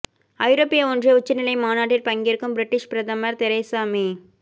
ஐரோப்பிய ஒன்றிய உச்சநிலை மாநாட்டில் பங்கேற்கும் பிரிட்டிஷ் பிரதமர் தெரேசா மே